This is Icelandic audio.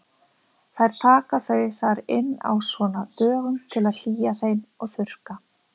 Þær taka þau þar inn á svona dögum til að hlýja þeim og þurrka.